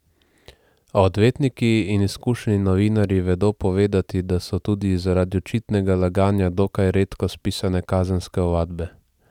A odvetniki in izkušeni novinarji vedo povedati, da so tudi zaradi očitnega laganja dokaj redko spisane kazenske ovadbe.